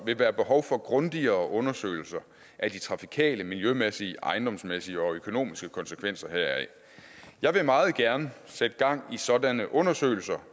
vil være behov for grundigere undersøgelser af de trafikale miljømæssige ejendomsmæssige og økonomiske konsekvenser heraf jeg vil meget gerne sætte gang i sådanne undersøgelser